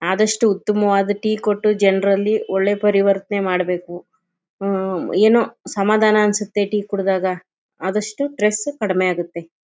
ಆದಷ್ಟು ಉತಮವಾದ ಟೀ ಕೊಟ್ಟು ಜನರಲ್ಲಿ ಒಳ್ಳೆ ಪರಿವರ್ತನೆ ಮಾಡಬೇಕು ಏನೋ ಸಮಾಧಾನ ಅನ್ಸುತ್ತೆ ಟೀ ಕುಡದಾಗ ಆದಷ್ಟು ಸ್ಟ್ರೆಸ್ ಕಡಿಮೆ ಆಗುತ್ತೆ.